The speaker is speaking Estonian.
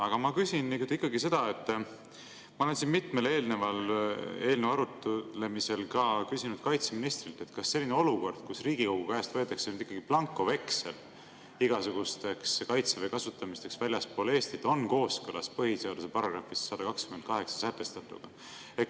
Aga ma küsin ikkagi seda, mida ma mitme eelneva eelnõu arutlemisel küsisin ka kaitseministrilt: kas selline olukord, kus Riigikogu käest võetakse ikkagi blankoveksel igasuguseks Kaitseväe väljaspool Eestit kasutamiseks, on kooskõlas põhiseaduse §‑s 128 sätestatuga?